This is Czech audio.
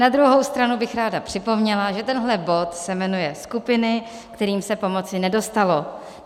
Na druhou stranu bych ráda připomněla, že tenhle bod se jmenuje skupiny, kterým se pomoci nedostalo.